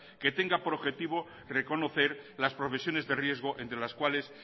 que tenga por objetivo reconocer las profesiones de riesgo entre las cuales